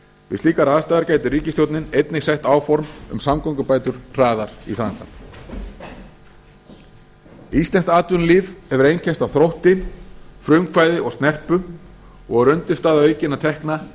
slíkar aðstæður getur ríkisstjórnin einnig sett áform um samgöngubætur hraðar í framkvæmd íslenskt atvinnulíf hefur einkennst af þrótti frumkvæði og snerpu og er undirstaða aukinna tekna